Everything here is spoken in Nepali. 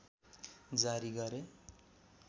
जारी गरे